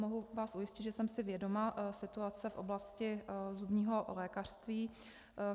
Mohu vás ujistit, že jsem si vědoma situace v oblasti zubního lékařství.